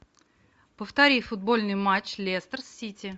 повтори футбольный матч лестер сити